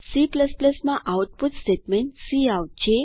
C માં output statement cout છે